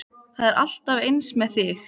Það er alltaf eins með þig!